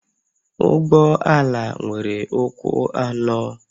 Ụgbọ ala nwere ụkwụ anọ